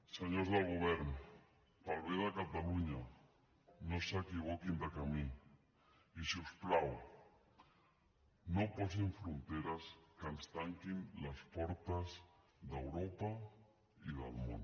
senyors del govern pel bé de catalunya no s’equivoquin de camí i si us plau no posin fronteres que ens tanquin les portes d’europa i del món